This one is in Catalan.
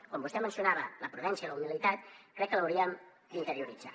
com vostè mencionava la prudència i la humilitat crec que les hauríem d’interioritzar